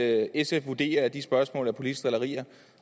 at sf vurderer at de spørgsmål er politiske drillerier